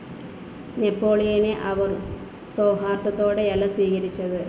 നെപ്പോളിയനെ അവർ സൌഹാർദ്ദത്തോടെയല്ല സ്വീകരിച്ചത്.